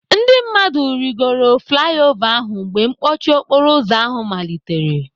Ndị mmadụ rịgoro flai ova ahụ mgbe mkpọchi okporoụzọ ahụ malitere.